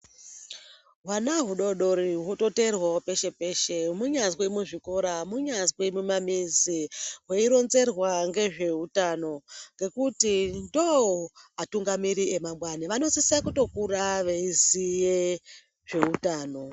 Hwana hudodori rwototeerwavo peshe-peshe, munyazi muzvikora munyazi mumamizi , veironzerwa ngezvehutano. Ngekuti ndoatungamiri emangwani vanosisa kutokura veiziye zvehutano.